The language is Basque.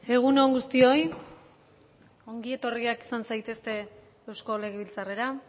egun on guztioi ongi etorriak izan zaitezte eusko legebiltzarrera